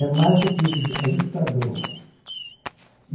É mais do que ju ajustador.